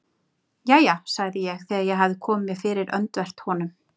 Jæja sagði ég þegar ég hafði komið mér fyrir öndvert honum.